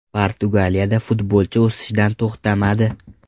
Portugaliyada futbolchi o‘sishdan to‘xtamadi.